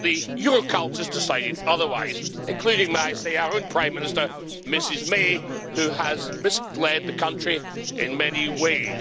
But the Euro cultists decided otherwise, including, may I say, our own Prime Minister, Mrs May, who has misled the country in many ways.